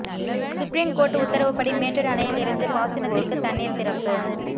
supreme court உத்தரவுப்படி மேட்டூர் அணையில் இருந்து பாசனத்திற்கு தண்ணீர் திறப்பு